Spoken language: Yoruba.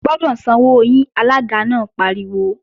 Ẹ gbọ́dọ̀ sanwó yín! Alága náà pariwo